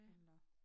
Eller